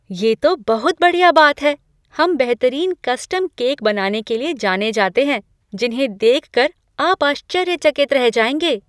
ये तो बहुत बढ़िया बात है! हम बेहतरीन कस्टम केक बनाने के लिए जाने जाते हैं जिन्हें देख कर आप आश्चर्यचकित रह जाएंगे।